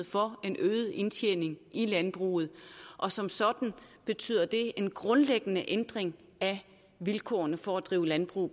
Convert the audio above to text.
for en øget indtjening i landbruget og som sådan betyder det en grundlæggende ændring af vilkårene for at drive landbrug